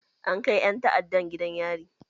An kai ƴan ta'addan gidan yari.